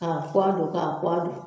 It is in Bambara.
K'a puwa don ka puwa don